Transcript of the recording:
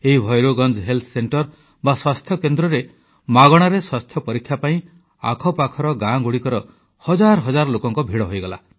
ଏହି Bhairoganj health centre ବା ସ୍ୱାସ୍ଥ୍ୟକେନ୍ଦ୍ରରେ ମାଗଣାରେ ସ୍ୱାସ୍ଥ୍ୟ ପରୀକ୍ଷା ପାଇଁ ଆଖପାଖର ଗାଁ ଗୁଡ଼ିକର ହଜାର ହଜାର ଲୋକଙ୍କ ଭିଡ଼ ହେଲା